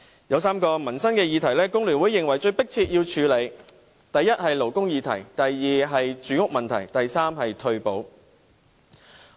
有3項民生議題，工聯會認為是最迫切需要處理的。第一，是勞工議題；第二，是住屋問題，以及第三，是退休保障。